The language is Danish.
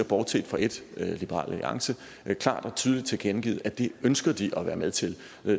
bortset fra et liberal alliance klart og tydeligt tilkendegivet at det ønsker de at være med til